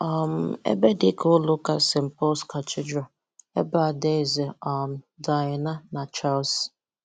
um Ébé dị ka Ụ́lọ Ụ́ka St. Paul’s Cathedral, ebe Adáézè um Diana na Charles